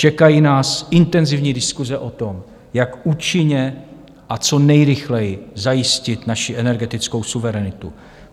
Čekají nás intenzivní diskuse o tom, jak účinně a co nejrychleji zajistit naši energetickou suverenitu.